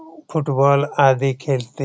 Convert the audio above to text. football आदि खेलते --